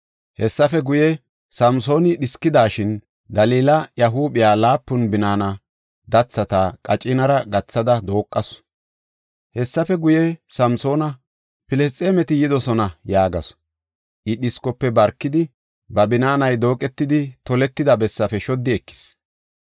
Hessafe guye, Samsooni dhiskidashin, Dalila iya huuphiya laapun binaana dathata qacinara gathada dooqasu. Hessafe guye, “Samsoona, Filisxeemeti yidosona” yaagasu. I dhiskofe barkidi, ba binaanay dooqetidi toletida bessaafe shoddi ekis.